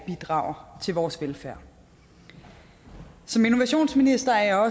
bidrager til vores velfærd som innovationsminister er